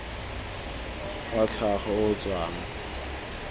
wa tlhago o o tswang